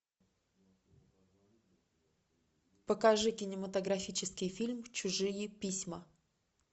покажи кинематографический фильм чужие письма